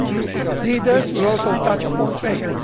The leaders will also touch upon trade.